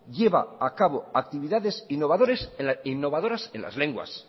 lleva a cabo actividades innovadoras en las lenguas sí